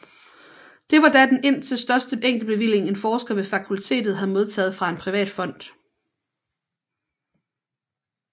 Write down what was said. Det var da den indtil største enkeltbevilling en forsker ved fakultetet havde modtaget fra en privat fond